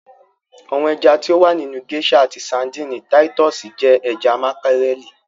Àwọn ẹja ti o wà nínu geisha àti Sárḍíńí Títùsí jẹ ẹja makarẹli.